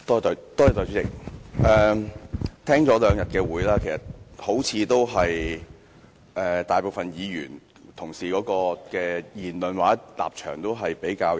代理主席，聽了議員這兩天的發言，發現大部分議員的言論或立場也頗為一致。